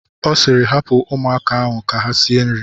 Ọ sịịrị, hapụ ụmụaka ahụ ka ha sie nri!